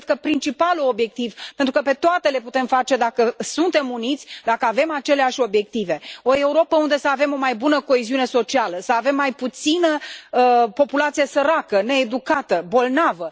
este, cred, principalul obiectiv, pentru că pe toate le putem face dacă suntem uniți, dacă avem aceleași obiective o Europă unde să avem o mai bună coeziune socială, să avem mai puțină populație săracă, needucată, bolnavă.